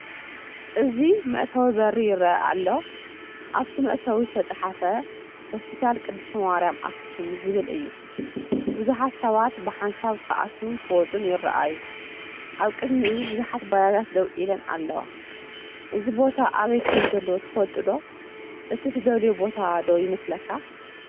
እዚ መእተዊ በሪ ይርአ ኣሎ። ኣብቲ መእተዊ ዝተጻሕፈ "ሆስፒታል ቅድስቲ ማርያም ኣክሱም" ዝብል እዩ። ብዙሓት ሰባት ብሓንሳብ ክኣትዉን ክወጹን ይረኣዩ ኣብ ቅድሚኡ ብዙሓት ባጃጃት ደው ኢለን ኣለዋ። እዚ ቦታ ኣበይ ከምዘሎ ትፈልጡ ዶ? እቲ ትደልዮ ቦታ ዶ ይመስለካ?